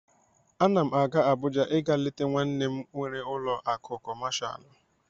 Ana m aga Abuja ịga leta nwanne nna m nwere ụlọ akụ kọmashal.